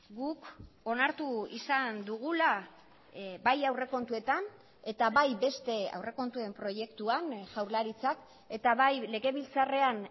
guk onartu izan dugula bai aurrekontuetan eta bai beste aurrekontuen proiektuan jaurlaritzak eta bai legebiltzarrean